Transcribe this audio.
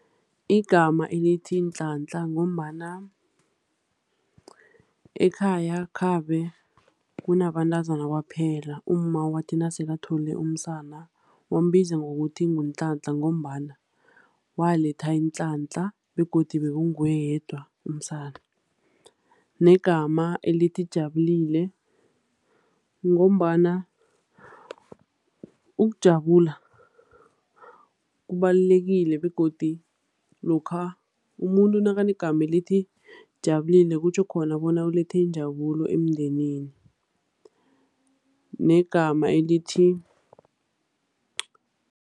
Igama elithi Nhlanhla ngombana ekhaya khabe kunabantazana kwaphela, umma wathi nasele athole umsana, wambiza ngokuthi nguNhlanhla ngombana waletha inhlanhla, begodu bekunguye yedwa umsana. Negama elithi Jabulile, ngombana ukujabula kubalulekile, begodu lokha umuntu nakanegama elithi Jabulile, kutjho khona bona ulethe injabulo emndenini. Negama elithi